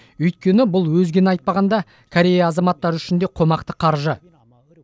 өйткені бұл өзгені айтпағанда корея азаматтары үшін де қомақты қаржы